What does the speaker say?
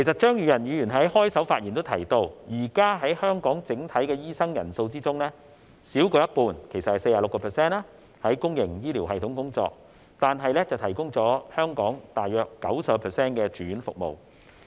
張宇人議員在開場發言時提到，現時香港整體的醫生人數中，少於一半在公營醫療系統工作，但提供了大約 90% 的住院服務。